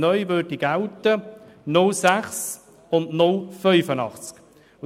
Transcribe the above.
Neu gälten 0,6 und 0,85 SAK als Gewerbegrenze.